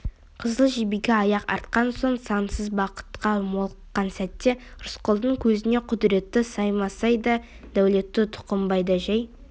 қызыл жебеге аяқ артқан сол сансыз бақытқа молыққан сәтте рысқұлдың көзіне құдіретті саймасай да дәулетті тұқымбай да жәй